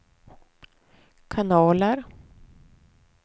kanaler